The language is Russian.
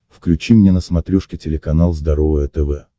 включи мне на смотрешке телеканал здоровое тв